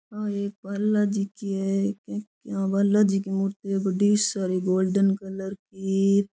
आ एक बालाजी की है एक इया बालाजी की मूर्ति बड़ी सारी गोल्डन कलर की।